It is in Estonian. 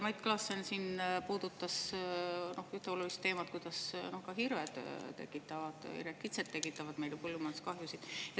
Mait Klaassen puudutas ühte olulist teemat: ka hirved ja kitsed tekitavad põllumajanduskahjusid.